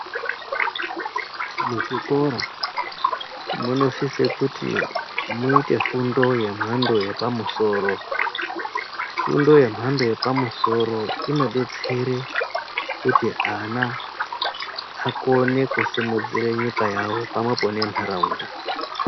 Mu zvikora muno sise kuti muite fundo ye mhando ye pamusoro fundo ye mhando yepa musoro ino detsere kuti ana akone kusimudzire nyika yawo pamwepo ne nharaunda.